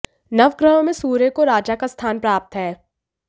नवग्रहों में सूर्य को राजा का स्थान प्राप्त है